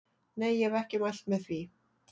Nei ég hef ekki mælt með því.